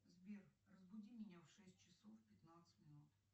сбер разбуди меня в шесть часов пятнадцать минут